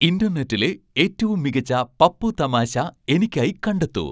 ഇൻ്റർനെറ്റിലെ ഏറ്റവും മികച്ച പപ്പു തമാശ എനിക്കായി കണ്ടെത്തൂ